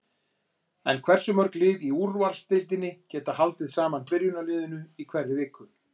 En hversu mörg lið í úrvalsdeildinni geta haldið sama byrjunarliðinu í hverri viku?